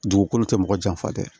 Dugukolo tɛ mɔgɔ janfa dɛ